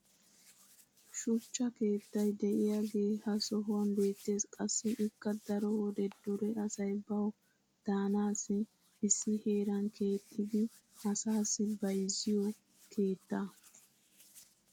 Shuchchaa keettay de'iyaagee ha sohuwan beetees. Qassi ikka daro wode dure asay bawu daanassi issi heeran keexxidi asaassi bayzziyo keettaa.